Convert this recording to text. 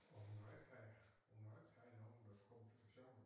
Og hun har ikke og hun har ikke rigtig nogen øh komplikationer